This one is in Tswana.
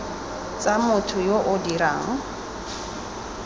tsa motho yo o dirang